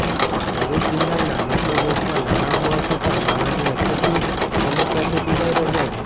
ભરૃચ જીલ્લાના લોકો બેંકોમાં નાણાં હોવા છતાં નાણાંની અછતની સમસ્યાથી પીડાય રહ્યા છે